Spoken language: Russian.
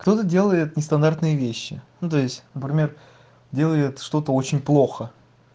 кто-то делает нестандартные вещи ну то есть например делает что-то очень плохо